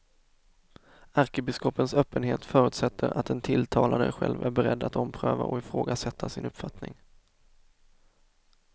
Ärkebiskopens öppenhet förutsätter att den tilltalade själv är beredd att ompröva och ifrågasätta sin uppfattning.